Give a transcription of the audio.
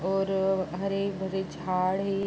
और हरे-भरे झाड़ है।